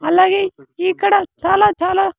అలాగే ఇక్కడ చాలా చాలా--